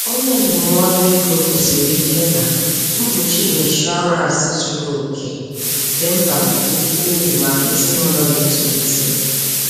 Onye ndụmọdụ ego kwusiri ike na mkpuchi inshọransị zuru oke dị mkpa nke ukwuu maka ezinụlọ na-etolite.